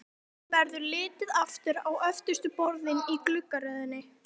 Honum verður litið aftur á öftustu borðin í gluggaröðinni.